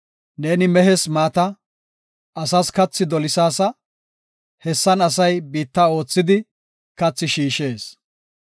Neeni mehes maata, asas kathi dolisaasa; hessan asay biitta oothidi, kathi shiishees.